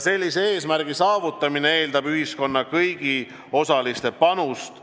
Selle eesmärgi saavutamine eeldab ühiskonna kõigi osaliste panust.